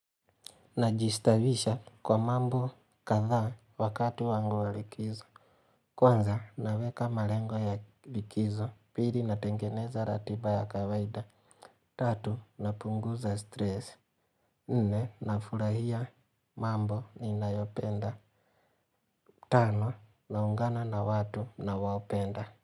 Najistawisha kwa mambo kadha wakati wangu wa likizo. Kwanza naweka malengo ya likizo pili natengeneza ratiba ya kawaida. Tatu napunguza stress. Nne nafurahia mambo ninayopenda. Tano naungana na watu nawaopenda.